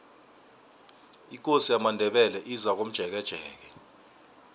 ikosi yamandebele izakomjekejeke